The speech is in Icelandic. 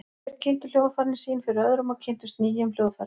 Þeir kynntu hljóðfærin sín fyrir öðrum og kynntust nýjum hljóðfærum.